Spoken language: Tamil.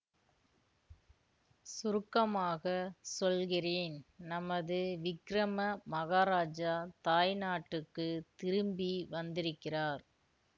சுருக்கமாக சொல்கிறேன் நமது விக்கிரம மகாராஜா தாய்நாட்டுக்குத் திரும்பி வந்திருக்கிறார்